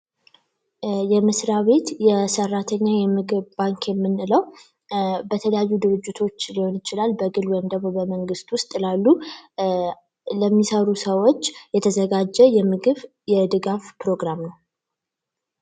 የመስሪያ ቤት የሠራተኛ የምግብ ባንክ የምንለው በተለያዩ ድርጅቶች ሊሆን ይችላል ።በግል ወይም በመንግስት ለሚሰሩ ሰዎች የተዘጋጀ የምግብ የድጋፍ ፕሮግራም ነው።